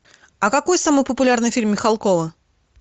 а какой самый популярный фильм михалкова